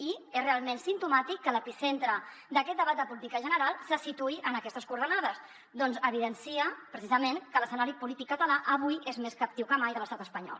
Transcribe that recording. i és realment simptomàtic que l’epicentre d’aquest debat de política general se situï en aquestes coordenades perquè evidencia precisament que l’escenari polític català avui és més captiu que mai de l’estat espanyol